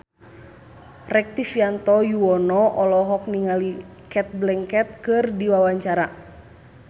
Rektivianto Yoewono olohok ningali Cate Blanchett keur diwawancara